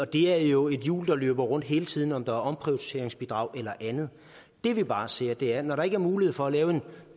det er jo et hjul der løber rundt hele tiden uanset om der er omprioriteringsbidrag eller andet det vi bare siger er at når der ikke er mulighed for at lave en